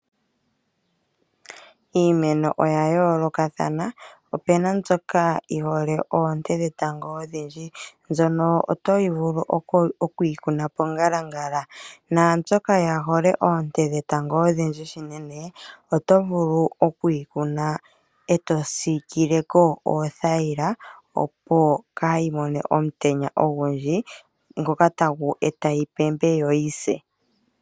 Iimeno oya yoolokathana. Opuna mbyoka yi hole oonte dhetango odhindji to vulu oku yi kuna mongalangala yomutenya, po opuna mbyoka kaayi hole omutenya ogundji to vulu oku yi kuna e to siikile ko oothaila opo kaa yi pembe yo yi se.